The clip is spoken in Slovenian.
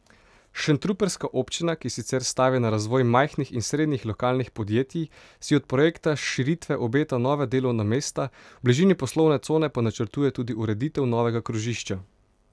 Šentrupertska občina, ki sicer stavi na razvoj majhnih in srednjih lokalnih podjetij, si od projekta širitve obeta nova delovna mesta, v bližini poslovne cone pa načrtuje tudi ureditev novega krožišča.